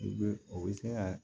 U bɛ u bɛ se ka